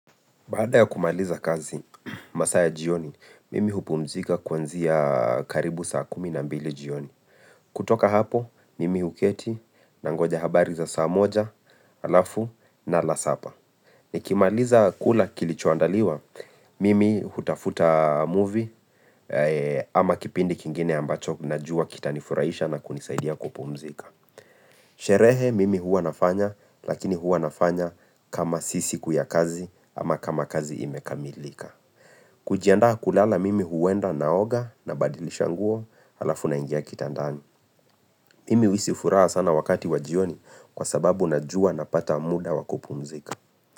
Bada ya kumaliza kazi masaa ya jioni, mimi hupumzika kuanzia karibu saa kumi na mbili jioni. Kutoka hapo, mimi huketi na ngoja habari za saa moja, alafu na nala sapa. Ni kimaliza kula kilichoandaliwa, mimi hutafuta movie ama kipindi kingine ambacho ninajua kita nifurahisha na kunisaidia kupumzika. Sherehe mimi huwa nafanya lakini huwa nafanya kama si siku ya kazi ama kama kazi imekamilika kujiandaa kulala mimi huenda naoga na badilisha nguo alafu na ingia kitandani Mimi huhisii furaha sana wakati wajioni kwa sababu najua napata muda wa kupumzika.